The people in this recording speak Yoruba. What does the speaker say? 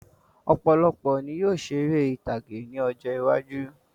Ọ̀pọ̀lọpọ̀ ní yóò ṣeré ìtàgé ní ọjọ́ iwájú